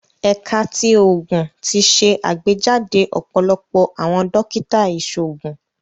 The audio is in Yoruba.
Ẹka ti Oogun ti ṣe agbejade ọpọlọpọ awọn dokita iṣoogun